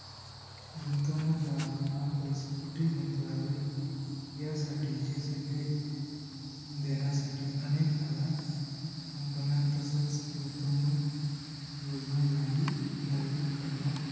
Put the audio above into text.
गुंतवणूकदाराना पैसे कुठे गुंतवावेत. ह्यासाठीचे सल्ले देण्यासाठी अनेक नव्या company या तसच गुंतवणूक योजनाद्वारे जाहीर करण्यास